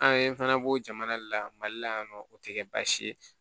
An ye fana b'o jamana de la mali la yan nɔ o tɛ kɛ baasi ye